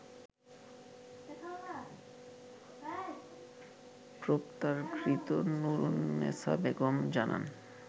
গ্রেপ্তারকৃত নূরুন্নেসা বেগম জানান